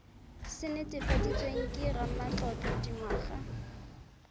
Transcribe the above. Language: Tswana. se netefaditsweng ke ramatlotlo dingwaga